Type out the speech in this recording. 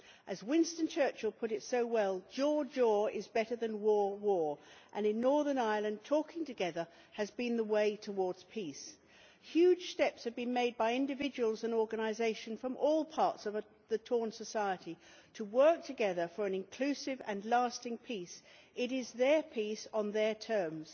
As Winston Churchill put it so well, jaw jaw is better than war war' and in Northern Ireland talking together has been the way towards peace. Huge steps have been made by individuals and organisations from all parts of a torn society to work together for an inclusive and lasting peace. It is their peace on their terms.